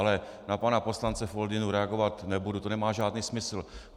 Ale na pana poslance Foldynu reagovat nebudu, to nemá žádný smysl.